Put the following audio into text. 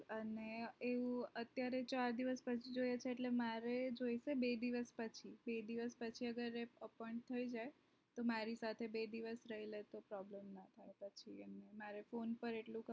અને એવું અત્યારે ચાર દિવસ પછી જો મારે બે દિવસ બે દિવસ પછી appoint થઇ જાય તો મારી પાસે બે દિવસ રહી લે તો problem ના હોય તો મારે phone પર એટલું